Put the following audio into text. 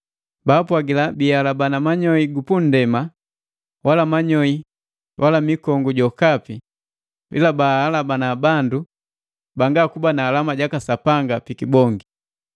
Baapwagila bihalabana manyoi gu nndema wala manyoi wala mikongu jokapi, ila bahalabana bandu banga kuba na alama jaka Sapanga pi kibongi.